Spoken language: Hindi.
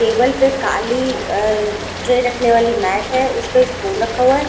टेबल पे काली अ ट्रे रखने वाली मैट है उसपे स्पून रखा हुआ है।